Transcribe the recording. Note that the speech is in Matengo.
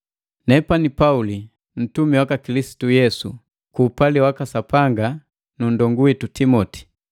Nepani Pauli, ntumi waka Kilisitu Yesu ku upali waka Sapanga nundongu witu Timoti.